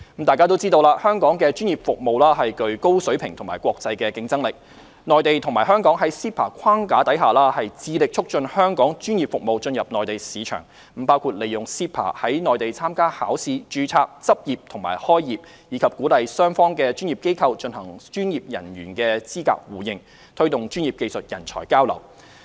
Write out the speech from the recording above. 眾所周知，香港的專業服務具高水平和國際競爭力，內地和香港在 CEPA 框架下致力促進香港專業服務進入內地市場，包括利用 CEPA 在內地參加考試、註冊、執業和開業，以及鼓勵雙方的專業機構進行專業人員資格互認，推動專業技術人才交流。